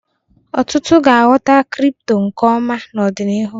Ọtụtụ ga-aghọta kripto nke ọma n'ọdịnihu